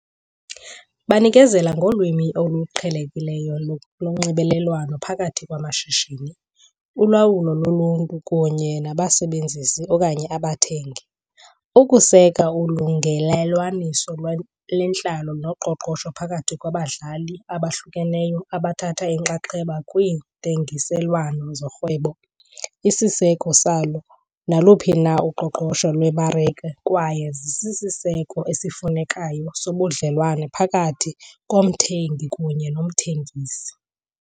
Banikezela ngolwimi oluqhelekileyo lonxibelelwano phakathi kwamashishini, ulawulo loluntu kunye nabasebenzisi okanye abathengi, ukuseka ulungelelwaniso lwentlalo noqoqosho phakathi kwabadlali abahlukeneyo abathatha inxaxheba kwiintengiselwano zorhwebo, isiseko salo naluphi na uqoqosho lwemarike, kwaye zisisiseko esiyimfuneko sobudlelwane phakathi komthengi kunye nomthengisi.